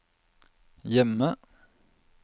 hjemme